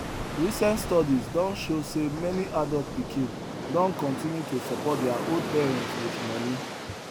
recent studies don show say many adult pikin don continue to support their old parents with money